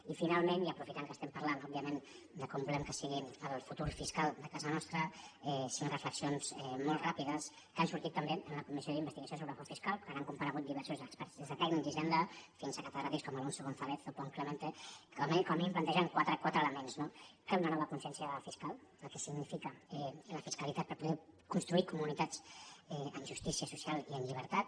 i finalment i aprofitant que estem parlant òbviament de com volem que sigui el futur fiscal de casa nostra cinc reflexions molt ràpides que han sortit també en la comissió d’investigació sobre el frau fiscal quan han comparegut diversos experts des de tècnics d’hisenda fins a catedràtics com alonso gonzález o pont clemente que com a mínim plantegen quatre elements no cal una nova consciència fiscal del que significa la fiscalitat per poder construir comunitats en justícia social i en llibertat